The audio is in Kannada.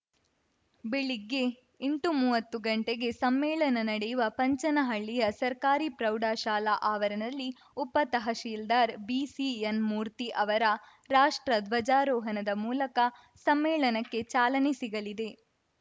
ಬೆಳಿಗ್ಗೆ ಎಂಟುಮೂವತ್ತು ಗಂಟೆಗೆ ಸಮ್ಮೇಳನ ನಡೆಯುವ ಪಂಚನಹಳ್ಳಿಯ ಸರ್ಕಾರಿ ಪ್ರೌಢಶಾಲಾ ಆವರಣದಲ್ಲಿ ಉಪ ತಹಸೀಲ್ದಾರ್‌ ಬಿಸಿಎನ್‌ ಮೂರ್ತಿ ಅವರ ರಾಷ್ಟ್ರ ಧ್ವಜಾರೋಹಣದ ಮೂಲಕ ಸಮ್ಮೇಳನಕ್ಕೆ ಚಾಲನೆ ಸಿಗಲಿದೆ